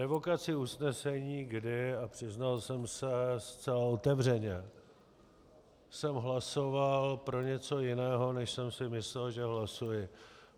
Revokaci usnesení, kdy, a přiznal jsem se zcela otevřeně, jsem hlasoval pro něco jiného, než jsem si myslel, že hlasuji.